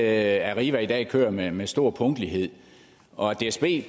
at arriva i dag kører med med stor punktlighed og at dsb